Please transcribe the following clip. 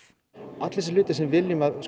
allir þessir hlutir sem við viljum að